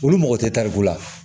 Olu mago tɛ tariku la